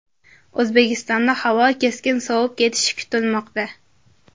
O‘zbekistonda havo keskin sovib ketishi kutilmoqda.